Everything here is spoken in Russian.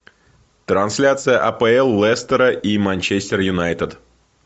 трансляция апл лестера и манчестер юнайтед